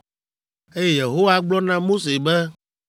eye Yehowa gblɔ na Mose be.